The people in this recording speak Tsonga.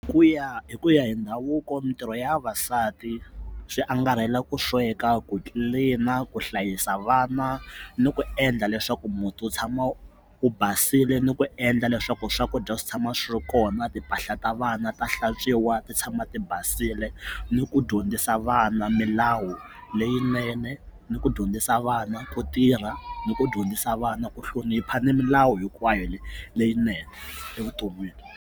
Ku ya hi ku ya hi ndhavuko mitirho ya vavasati swi angarhela ku sweka ku tlilina ku hlayisa vana ni ku endla leswaku muti wu tshama wu basile ni ku endla leswaku swakudya swi tshama swi ri kona timpahla ta vana ta hlantswiwa ti tshama ti basile ni ku dyondzisa vana milawu leyinene ni ku dyondzisa vana ku tirha ni ku dyondzisa vana ku hlonipha ni milawu hinkwayo leyinene evuton'wini.